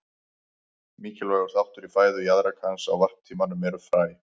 Mikilvægur þáttur í fæðu jaðrakans á varptímanum eru fræ.